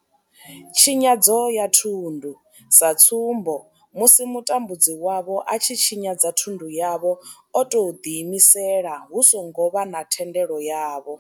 Tshinyadzo ya thundu sa tsumbo, musi mutambudzi wavho a tshi tshinyadza thundu yavho o tou ḓiimisela hu songo vha na thendelo yavho.